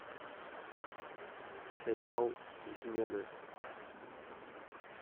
сериал измены